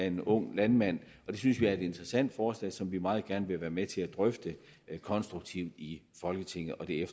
en ung landmand det synes vi er et interessant forslag som vi meget gerne vil være med til at drøfte konstruktivt i folketinget og det